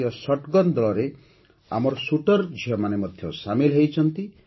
ଭାରତୀୟ ଶଟ୍ଗନ୍ ଦଳରେ ଆମର ଶୁଟର୍ ଝିଅମାନେ ମଧ୍ୟ ସାମିଲ୍ ହୋଇଛନ୍ତି